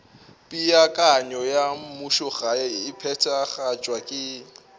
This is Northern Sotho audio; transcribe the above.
peakanyo ya mmušogae e phethagatšwa